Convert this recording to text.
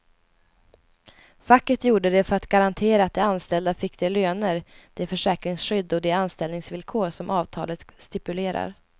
Facket gjorde det för att garantera att de anställda fick de löner, det försäkringsskydd och de anställningsvillkor som avtalet stipulerar.